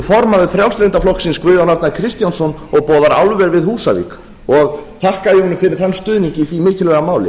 formaður frjálslynda flokksins guðjón arnar kristjánsson og boðar álver við húsavík og þakka ég honum fyrir þann stuðning í ári mikilvæga máli